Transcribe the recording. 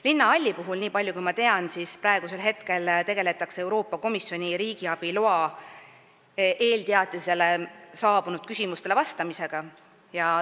Linnahalli puhul, nii palju kui ma tean, tegeletakse praegu Euroopa Komisjonilt riigiabi teatisega seoses saabunud küsimustele vastamisega.